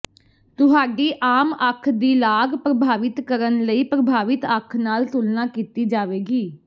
ਤੁਹਾਡੀ ਆਮ ਅੱਖ ਦੀ ਲਾਗ ਪ੍ਰਭਾਵਿਤ ਕਰਨ ਲਈ ਪ੍ਰਭਾਵਿਤ ਅੱਖ ਨਾਲ ਤੁਲਨਾ ਕੀਤੀ ਜਾਵੇਗੀ